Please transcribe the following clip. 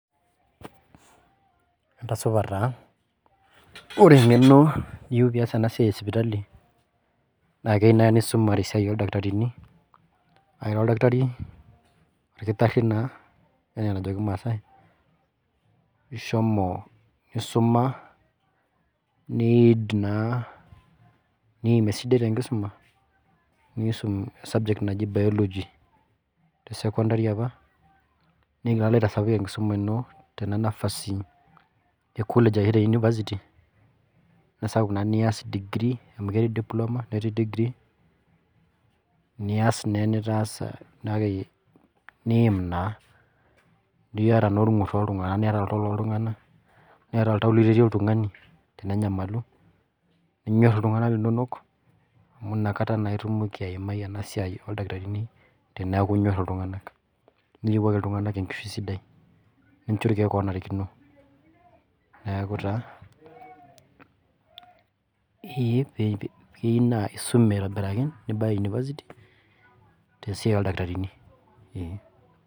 Entasupa taa ,ore engeno niyieu pee iyas ena siai esipitali, naa keyeu naaji naa isumare esiai oldakitarini ,ira oldakitari orkitari naa enaa enajo kimasai ,ishomo isuma nidim esidai tenkisum nidim esubject naji biology tesecondary apa nitoki alo aitasapuk enkisuma ino te college orshu te university niyata naa degree]cs] amu ketii diploma netii degree niyata naa enitaasa akeyie nidim naa niyata naa orgur tooltunganak niyata oltau loo ltunganak, niyata oltau liretie oltungani tenenyamalu ninyor iltunganak linonok amu inakata naa itumoki aimai ena siai oldakitarini teneeku inyor iltunganak niyiewuaki iltunganak enkishui sidai nincho irkeek onarikino ,neeku taa keyeu naa isum aitobiraki nibaya university tesiai oldakitarini.